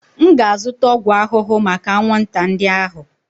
M ga-azụta ọgwụ ahụhụ maka anwụnta ndị ahụ.